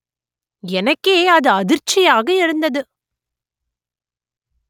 எனக்கே அது அதிர்ச்சியாக இருந்தது